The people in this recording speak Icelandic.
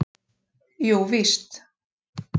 Jú víst!